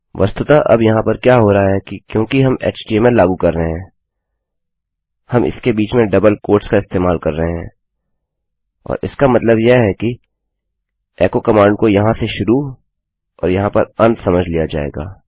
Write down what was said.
वस्तुतः अब यहाँ पर क्या हो रहा है कि क्योंकि हम htmlएचटीएमएललागू कर रहे हैं हम इसके बीच में डबल उद्धरण चिन्होंका इस्तेमाल कर रहे हैं और इसका मतलब यह है कि एको कमांड को यहाँ से शुरू और यहाँ पर अंत समझ लिया जाएगा